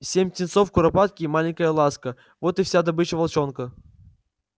семь птенцов куропатки и маленькая ласка вот и вся добыча волчонка